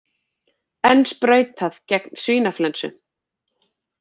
Enn sprautað gegn svínaflensu